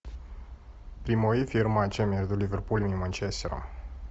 прямой эфир матча между ливерпулем и манчестером